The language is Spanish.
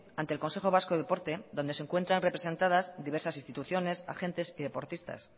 ante el consejo vasco de deporte dónde se encuentran representadas diversas instituciones agentes y deportistas